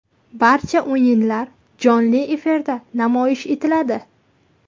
Barcha o‘yinlar jonli efirda namoyish etiladi.